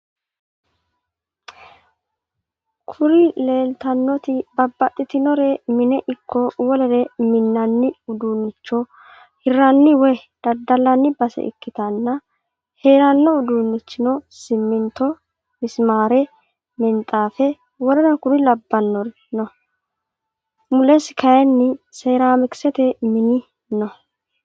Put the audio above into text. Kuri leeltannoti babaxitinnore mine ikko wolere mi'ninanni udunnicho hirranni woy daddalanni base ikkitana heeranno uduunnichino siminto, misimare, minixaafe,w.k.l no.mulesi kayin seramikisete mini no.